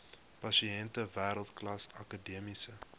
pasiënte wêreldklas akademiese